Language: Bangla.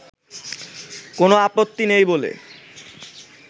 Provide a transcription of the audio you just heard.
কোনো আপত্তি নেই বলে